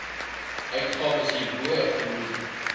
uitgawes hierbo genoem